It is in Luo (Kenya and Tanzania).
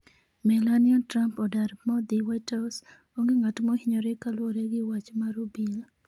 Melania Trump odar bodhi whitehouse, onge ng'at mohinyore kaluwore gi wach mar obila